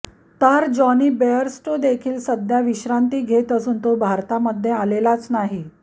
तर Johnny Bairstow देखील सध्या विश्रांती घेत असून तो भारतामध्ये आलेलाच नाही